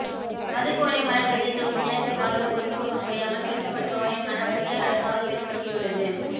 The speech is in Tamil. மதுக்குவளை மலர் கவிதைத்தொகுப்பு தினசரிவாழ்வோடு பொருந்திப்போக முடியாமல் துரத்தப்படுபவனின் மனவலியை அழகாக வெளிப்படுத்தியுள்ளது